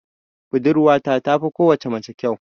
Budurwata tafi kowace mace kyau.